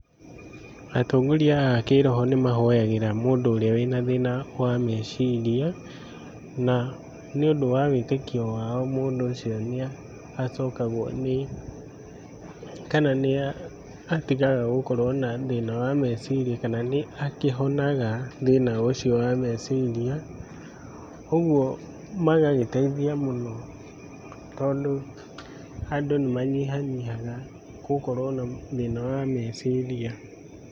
Atongoria a kĩ-roho nĩ mahoyagĩra mũndũ ũrĩa wĩ na thĩĩna wa meciria, na nĩ ũndũ wa wĩtĩkio wao mũndũ ũcio nĩ acokagwo nĩ, kana nĩ atigaga gũkorwo na thĩĩna wa meciria kana nĩ akĩhonaga thĩĩna ũcio wa meciria, ũguo magagĩteithia mũno tondũ andũ nĩ manyihanyihaga gũkorũo na thĩĩna wa meciria.